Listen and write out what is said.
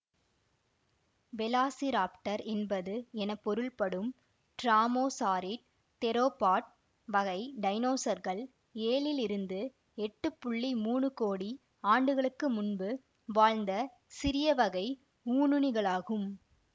velociraptor என்பது என பொருள்படும் ட்ராமோசாரிட் தெரோபாட் வகை டைனோசர்கள் ஏழிலிருந்து எட்டு புள்ளி மூனு கோடி ஆண்டுகளுக்கு முன்பு வாழ்ந்த சிறிய வகை ஊனுண்ணிகளாகும்